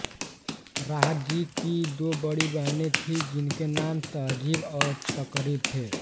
राहत जी की दो बड़ी बहनें थी जिनके नाम तहज़ीब और तक़रीब थे